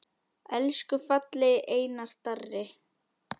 Elsku fallegi Einar Darri.